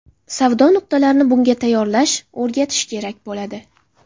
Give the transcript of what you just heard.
Savdo nuqtalarini bunga tayyorlash, o‘rgatish kerak bo‘ladi.